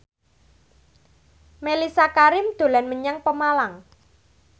Mellisa Karim dolan menyang Pemalang